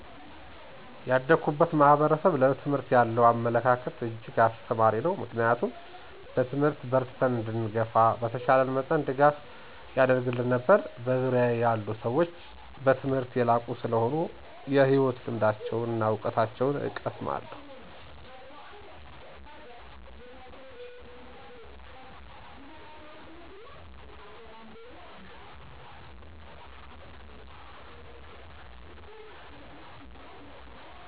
ያደኩበት ማህበረሰብ ለትምህርት ያለው አመለካከት እጅግ አስተማሪ ነው ምክንያቱም በትምህርት በርትተን እንድንገፋ በተቻለው መጠን ድጋፍ ያደርግልን ነበር። በዙርያየ ያሉ ሰዎች በትምህርት የላቁ ሰለሆኑ የህይወት ልምዳቸውና እውቀታቸውን እቀሰማለሁ።